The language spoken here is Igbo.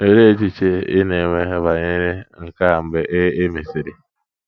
Olee echiche ị na - enwe banyere nke a mgbe e e mesịrị?